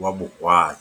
wa bohwai.